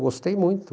Gostei muito.